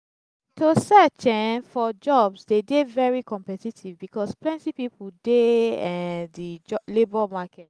to search um for jobs de dey very competitive because plenty pipo de um di labour market